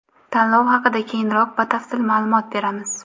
Tanlov haqida keyinroq batafsil ma’lumot beramiz.